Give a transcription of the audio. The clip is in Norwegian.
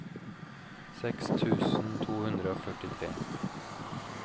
seks tusen to hundre og førtitre